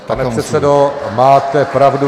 Pane předsedo, máte pravdu.